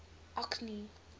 orkney